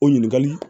O ɲininkali